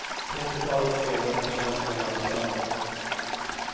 Trettiotalet spelare har fått chansen i landslaget.